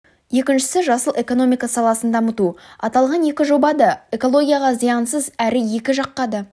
екіншісі жасыл экономика саласын дамыту аталған екі жоба да экологияға зиянсыз әрі екі жаққа да